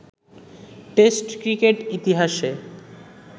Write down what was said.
test cricket ইতিহাসে